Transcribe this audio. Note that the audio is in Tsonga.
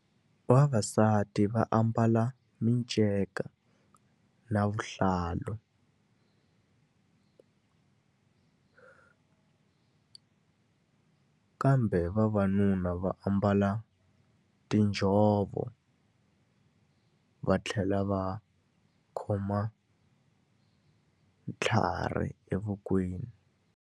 Vavasati va ambala minceka na vuhlalu kambe vavanuna va ambala tinjhovo, va tlhela va khoma tlhari evokweni.